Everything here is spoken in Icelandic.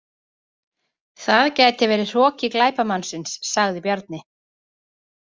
Það gæti verið hroki glæpamannsins, sagði Bjarni.